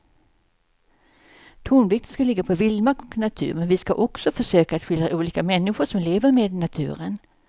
Tonvikten ska ligga på vildmark och natur men vi ska också försöka att skildra olika människor som lever med naturen.